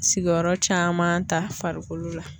Sigiyɔrɔ caman ta farikolo la